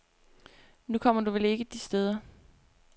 Nu kommer du vel ikke de steder.